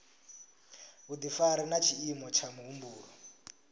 vhudifari na tshiimo tsha muhumbulo